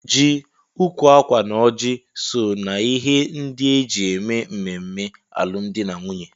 Ji, ukwu akwa na ọjị so na ihe ndị eji eme ememme alụmdi na nwunye.